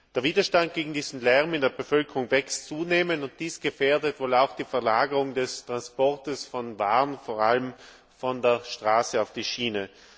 Der Widerstand gegen diesen Lärm in der Bevölkerung wächst zunehmend, und dies gefährdet wohl auch die Verlagerung des Transports von Waren, vor allem von der Straße auf die Schiene.